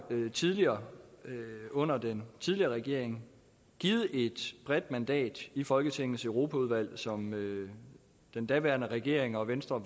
jo tidligere under den tidligere regering givet et bredt mandat i folketingets europaudvalg som den daværende regering og venstre